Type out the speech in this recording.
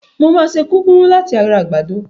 Mo máa ṣe kúkúrú láti ara àgbàdo.